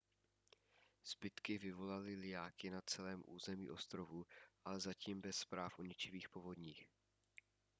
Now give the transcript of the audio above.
zbytky vyvolaly lijáky na celém území ostrovů ale zatím bez zpráv o ničivých povodních